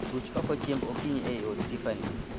Ruch oko chiemb okinyi ei od Tiffany